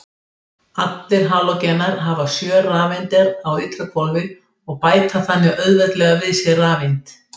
Allir halógenar hafa sjö rafeindir á ytra hvolfi og bæta þannig auðveldlega við sig rafeind.